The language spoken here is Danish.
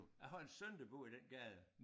Jeg har en søn der bor i den gade